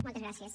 moltes gràcies